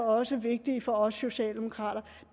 også vigtig for os socialdemokrater